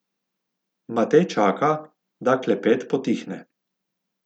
Matej čaka, da klepet potihne.